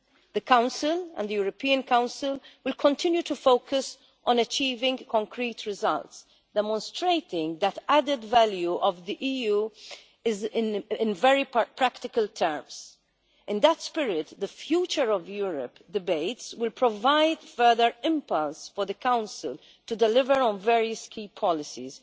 The Council and the European Council will continue to focus on achieving concrete results, demonstrating that added value of the EU in very practical terms. In that spirit, the Future of Europe debates will provide further impetus for the Council to deliver on various key policies,